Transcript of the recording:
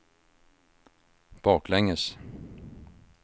baklänges